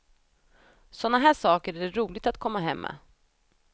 Sådana här saker är det roligt att komma hem med.